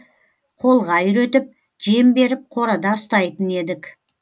қолға үйретіп жем беріп қорада ұстайтын едік